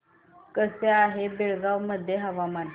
कसे आहे बेळगाव मध्ये हवामान